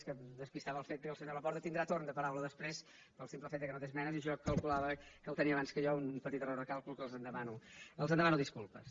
és que em despistava el fet que el senyor laporta tindrà torn de paraula després pel simple fet que no té esmenes i jo calculava que el tenia abans que jo un petit error de càlcul que els en demano disculpes